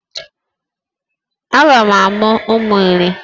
Aga m amụ ụmụ iri